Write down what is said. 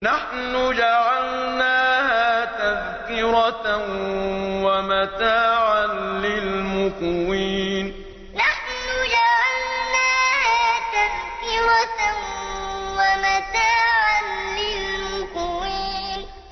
نَحْنُ جَعَلْنَاهَا تَذْكِرَةً وَمَتَاعًا لِّلْمُقْوِينَ نَحْنُ جَعَلْنَاهَا تَذْكِرَةً وَمَتَاعًا لِّلْمُقْوِينَ